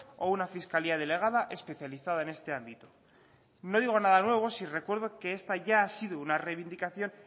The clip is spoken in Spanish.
o una fiscalía delegada especializada en este ámbito no digo nada nuevo si recuerdo que esta ya ha sido una reivindicación